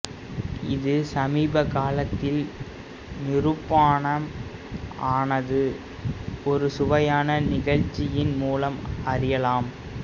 இது சமீப காலத்தில் நிரூபானம் ஆனது ஒரு சுவையான நிகழ்ச்சியின் மூலம் அறியலாம்